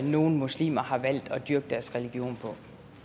nogle muslimer har valgt at dyrke deres religion på